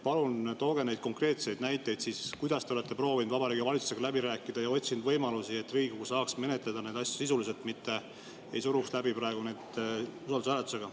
Palun tooge konkreetseid näiteid selle kohta, kuidas te olete proovinud Vabariigi Valitsusega läbi rääkida ja otsinud võimalusi, et Riigikogu saaks menetleda neid asju sisuliselt ja mitte ei suruks neid läbi usaldushääletusega.